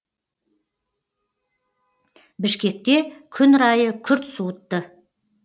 бішкекте күн райы күрт суытты